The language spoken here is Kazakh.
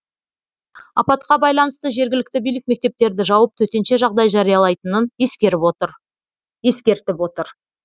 апатқа байланысты жергілікті билік мектептерді жауып төтенше жағдай жариялайтынын ескертіп отыр